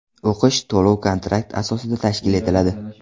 O‘qish to‘lov-kontrakt asosida tashkil etiladi.